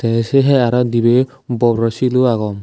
tey sey hai arw dibey bor bor bor silo agon.